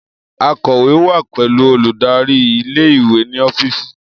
Akọ̀wé wa pẹlu oludari ìle-ìwe ni ọfíìsì